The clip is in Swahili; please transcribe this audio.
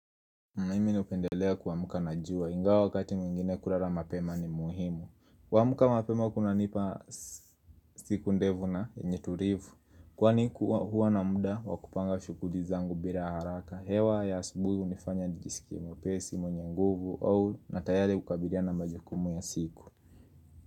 Mimi napendelea kuamka na jua, ingawa wakati mwingine kulala mapema ni muhimu kuamka mapema kuna nipa siku ndefu na, yenye tulivu Kwani kuwa hua na mda, wakupanga shughuli zangu bila haraka hewa ya asubuhi hunifanya nijisikie, mwepesi, mwenye nguvu, au na tayari ukabiria na majukumu ya siku.